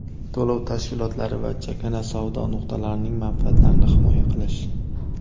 to‘lov tashkilotlari va chakana savdo nuqtalarining manfaatlarini himoya qilish;.